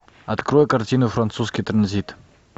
открой картину французский транзит